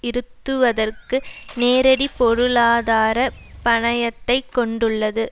இருத்துவதற்கு நேரடி பொருளாதார பணயத்தைக் கொண்டுள்ளது